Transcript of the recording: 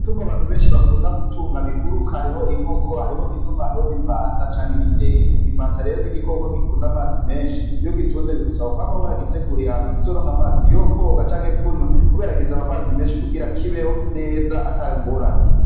Tungo abantu benshi bakunda gutunga biguruka hariho inkoko hariho inuma hariho n'imbata canke n'idendo imbatarero n'igikoko gikunda amazi menshi iyo gitunze rigusaba kwamabora gitegura iyantu kizoronka amazi yokwoga canke kunywa, kubera gisaba amazi menshi kugira kibeho neza atangorane.